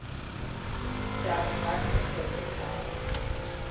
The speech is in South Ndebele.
njani ngani ngephrojekthakho